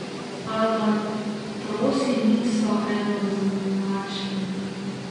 Albatrosi niso enoznačni.